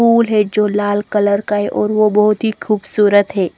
Full है जो लाल कलर का है और वो बोहोत ही खूबसूरत है।